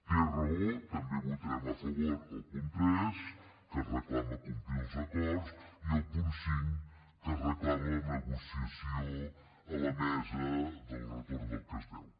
té raó també votarem a favor el punt tres que reclama complir els acords i el punt cinc que reclama la negociació a la mesa del retorn del que es deu